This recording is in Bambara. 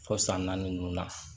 Fo san naani ninnu na